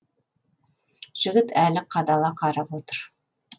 жігіт әлі қадала қарап отыр